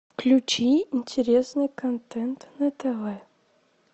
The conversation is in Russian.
включи интересный контент на тв